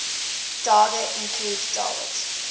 daga include dawit